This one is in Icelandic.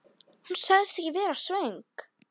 Hér í hús